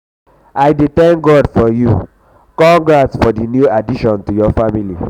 i dey thank god for you congrats for di new addition to your family.